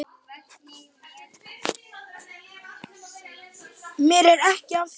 Mér er ekið af þér.